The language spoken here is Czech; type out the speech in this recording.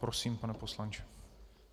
Prosím, pane poslanče.